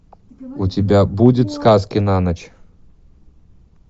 у тебя будет сказки на ночь